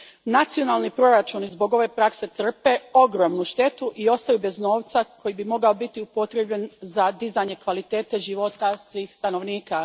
Nacionalni proračuni zbog ove prakse trpe ogromnu štetu i ostaju bez novca koji bi mogao biti upotrijebljen za dizanje kvalitete života svih stanovnika.